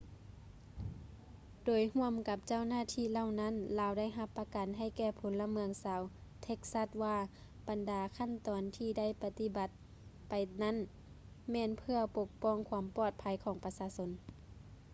ໂດຍຮ່ວມກັບເຈົ້າໜ້າທີ່ເຫຼົ່ານັ້ນ ລາວໄດ້ຮັບປະກັນໃຫ້ແກ່ພົນລະເມືອງຊາວເທັກຊັສວ່າບັນດາຂັ້ນຕອນທີ່ໄດ້ປະຕິບັດໄປນັ້ນແມ່ນເພື່ອປົກປ້ອງຄວາມປອດໄພຂອງປະຊາຊົນ